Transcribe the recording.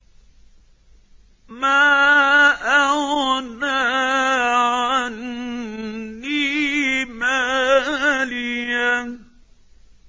مَا أَغْنَىٰ عَنِّي مَالِيَهْ ۜ